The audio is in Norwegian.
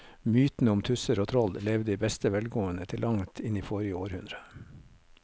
Mytene om tusser og troll levde i beste velgående til langt inn i forrige århundre.